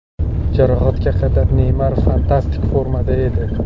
Jarohatga qadar Neymar fantastik formada edi.